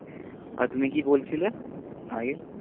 আর তুমি কি বলছিলে? আগে